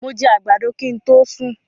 Mó jẹ àgbàdo kin to sún